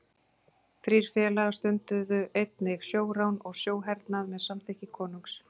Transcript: Þeir félagar stunduðu einnig sjórán og sjóhernað með samþykki konungs.